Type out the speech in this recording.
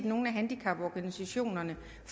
nogle af handicaporganisationerne